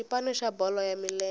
xipano xa bolo ya milenge